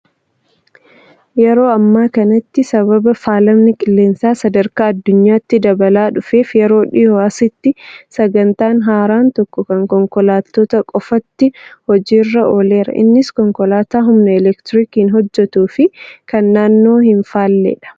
Yeroo ammaa kanatti sababa faalamni qilleensaa sadarkaa addunyaatti dabalaa dhufeef yeroo dhiyoo asitti sagantaan haaraan tokko kan konkolaattotaa qofaatti hojiirra ooleera. Innis konkolaataa humna elektiriikiin hojjatuu fi kan naannoo hin faalledha.